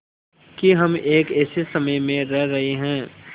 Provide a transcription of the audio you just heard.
कि हम एक ऐसे समय में रह रहे हैं